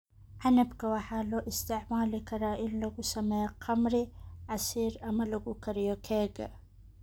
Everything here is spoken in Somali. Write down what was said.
Canabka waxaa loo isticmaali karaa in lagu sameeyo khamri, casiir, ama lagu kariyo keega.